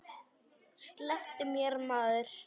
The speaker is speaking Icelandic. Slepptu mér maður.